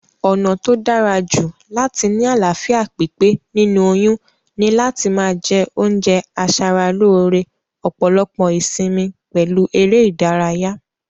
Ònà tó dárajù láti ni àláfíà pípé nínú oyún ni láti ma je oúnje asaralóre, òpòlopò ìsimi pèlu eré ìdárayá